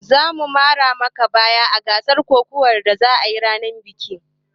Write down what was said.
Za mu mara maka baya a gasar kokawan da zakayi a ranar bikin